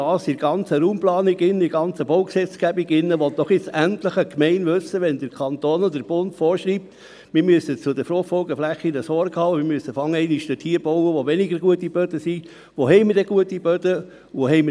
Im Weiteren möchte ich mit der Bodenkarte aufzeigen, wo es möglich ist, mit gutem Aushubmaterial Fruchtfolgeflächen wieder zu Fruchtfolgeflächen zu machen, wie zum Beispiel in Witzwil oder an vielen anderen Orten, wo sich der Boden in den Moosboden abgesenkt hat.